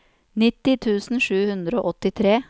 nitti tusen sju hundre og åttitre